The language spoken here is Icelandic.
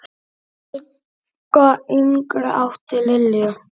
Helga yngri átti Lilju.